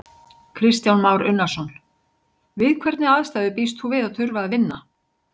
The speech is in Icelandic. Kristján Már Unnarson: Við hvernig aðstæður býst þú við að þurfa að vinna?